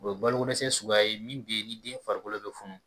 O ye balo ko dɛsɛ sugu ye min be ni den farikolo bi funu